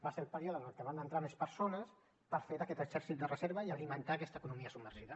va ser el període en què van entrar més persones per fer aquest exèrcit de reserva i alimentar aquesta economia submergida